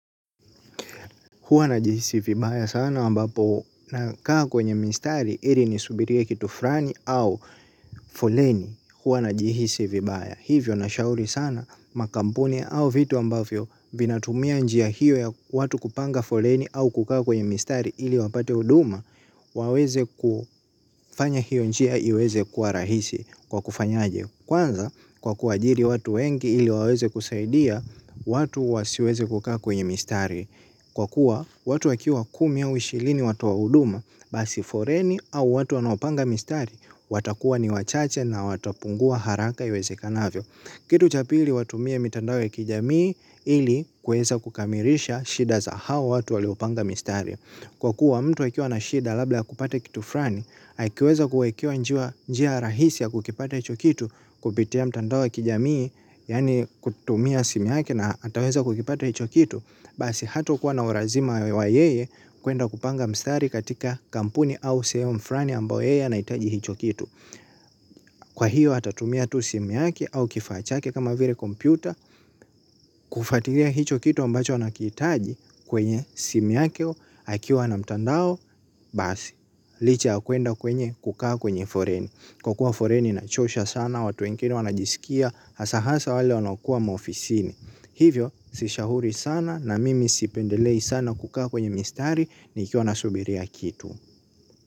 Huwa najihisi vibaya sana ambapo nakaa kwenye mistari ili ni subirie kitu fulani au foleni huwa najihisi vibaya. Hivyo na shauri sana makampuni au vitu ambavyo vinatumia njia hiyo ya watu kupanga foleni au kukaa kwenye mistari ili wapate huduma. Waweze kufanya hiyo njia iweze kuwa rahisi kwa kufanya aje. Kwanza kwa kuajiri watu wengi ili waweze kusaidia watu wasiweze kukaa kwenye mistari. Kwa kuwa, watu wakiwa kumia ushirini watu wa huduma, basi foleni au watu wanaopanga mistari, watakuwa ni wachache na watapungua haraka iwezekanavyo. Kitu cha pili watumie mitandao ya kijamii ili kueza kukamilisha shida za hawa watu waliopanga mistari. Kwa kuwa, mtu akiwa na shida labda hakupata kitu fulani, haikiweza kuwekewa njia rahisi ya kukipata hicho kitu, kupitia mitando kijamii, yani kutumia simi yake na ataweza kukipata hicho kitu. Basi hatukuwa na ulazima wa yeye kuenda kupanga mstari katika kampuni au sehemu fulani ambayo yeye anaitaji hicho kitu. Kwa hiyo atatumia tu simu yake au kifachake kama vile kompyuta kufutilia hicho kitu ambacho anakihitaji kwenye simu yake akiwa na mtandao. Basi licha ya kwenda kwenye kukaa kwenye foleni kwa kuwa foleni inachosha sana watu wengine wanajisikia hasahasa wale wanaokua maofisini. Hivyo, sishauri sana na mimi sipendelei sana kukaa kwenye mistari nikiwa nasubiria kitu.